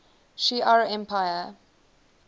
shi ar empire